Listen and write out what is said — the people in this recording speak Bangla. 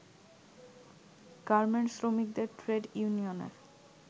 গার্মেন্টস শ্রমিকদের ট্রেড ইউনিয়নের